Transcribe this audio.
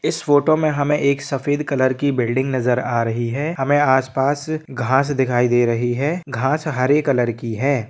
इस फोटो मे हमे एक सफेद कलर की बिल्डिंग नजर आ रही है हमे आस-पास घास दिखाई दे रही है घास हरे कलर की है।